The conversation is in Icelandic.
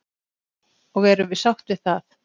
Og erum við sátt við það?